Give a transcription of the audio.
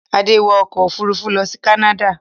Adé wọ ọkọ̀-òfurufú lọ sí Canada.